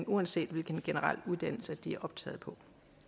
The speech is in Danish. uanset hvilken generel uddannelse de er optaget på